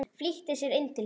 Flýtti sér inn til sín.